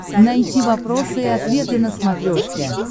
найти вопросы и ответы на смотрешке